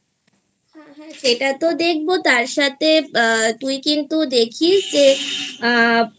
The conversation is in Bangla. হ্যাঁ হ্যাঁ সেটা তো দেখবো তার সাথে তুই কিন্তু দেখিস যে